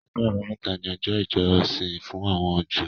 Ọjọ́ Àbámẹ́ta ni ọjọ́ ìjọsìn fún àwọn Júù